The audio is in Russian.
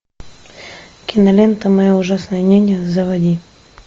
кинолента моя ужасная няня заводи